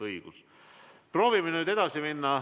Aga proovime nüüd edasi minna.